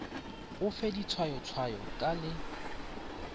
o fe ditshwayotshwayo ka le